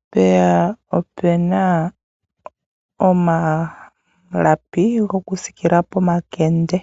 mpeya opena omalapi gokusiikila pomakende.